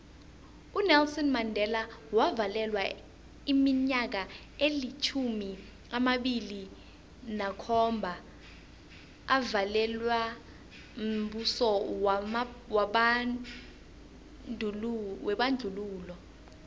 unelson mandela wavalelwa iminyaka elitjhumi amabili nakhomba avalelwa mbuso webandlululo